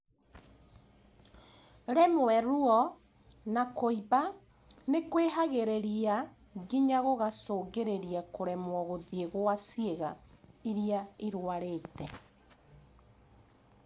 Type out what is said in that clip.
Rĩmwe, ruo na kũimba nĩkwĩhagĩrĩriaa nginya gũgacũngĩrĩria kũremwo gũthiĩ gwa ciĩga irĩa irwarĩte